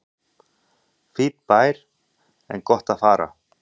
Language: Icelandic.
Fínn bær en gott að fara